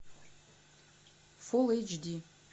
фулл эйч ди